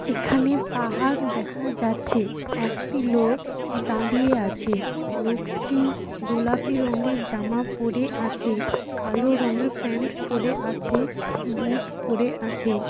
এখানে পাহাড় দেখা যাচ্ছেএকটি লোক দাড়িয়ে আছেলোকটিগোলাপি রঙের জামা পড়ে আছেকালো রঙের প্যান্ট পড়ে আছেবুট পড়ে আছে।